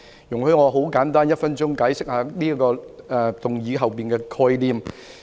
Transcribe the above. "容許我用1分鐘簡單地解釋這項議案背後的概念。